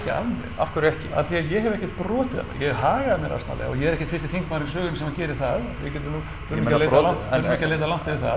af hverju ekki af því að ég hef ekkert brotið hef hagað mér asnalega og ég er ekkert fyrsti þingmaðurinn í sögunni sem gerir það við þurfum ekki að leita langt yfir það